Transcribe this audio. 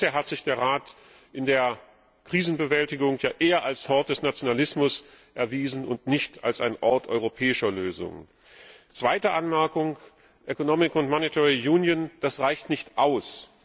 Bisher hat sich der Rat in der Krisenbewältigung ja eher als Hort des Nationalismus erwiesen und nicht als ein Ort europäischer Lösungen. Zweite Anmerkung Economic and Monetary Union das reicht nicht aus.